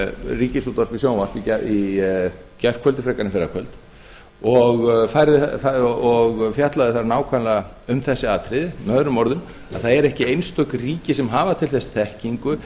ríkisútvarpið sjónvarp í gærkvöldi frekar en fyrrakvöld og fjallaði þar nákvæmlega um þessi atriði með öðrum orðum það eru ekki einstök ríki sem hafa til þess þekkingu